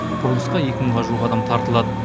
құрылысқа екі мыңға жуық адам тартылады